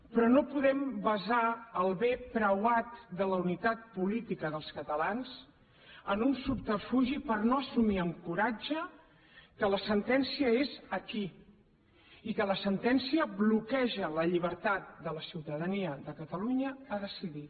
però no podem basar el bé preuat de la unitat política dels catalans en un subterfugi per no assumir amb coratge que la sentència és aquí i que la sentència bloqueja la llibertat de la ciutadania de catalunya a decidir